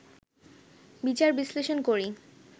বিচার-বিশ্লেষণ করি